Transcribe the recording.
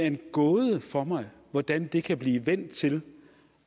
en gåde hvordan det kan blive vendt til